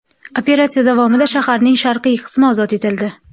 Operatsiya davomida shaharning sharqiy qismi ozod etildi.